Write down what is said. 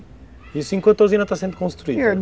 Isso enquanto a usina está sendo construída?